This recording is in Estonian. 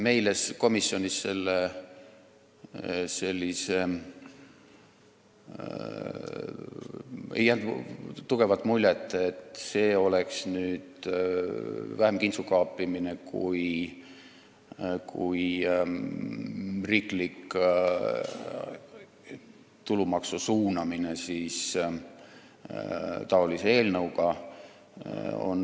Meile komisjonis ei jäänud tugevat muljet, et see oleks vähem kintsukaapimine kui riiklik tulumaksu suunamine eelnõuga.